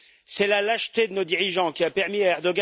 C'est la lâcheté de nos dirigeants qui a permis à M.